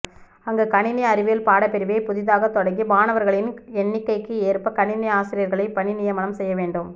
அங்கு கணினி அறிவியல் பாடப்பிரிவை புதிதாக தொடங்கி மாணவர்களின் எண்ணிக்கைக்கு ஏற்ப கணினி ஆசிரியர்களைப் பணிநியமனம் செய்ய வேண்டும்